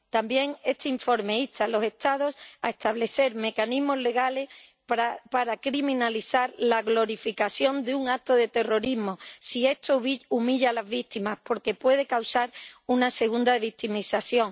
También este informe insta a los Estados a establecer mecanismos legales para criminalizar la glorificación de un acto de terrorismo si esto humilla a las víctimas, porque puede causar una segunda victimización.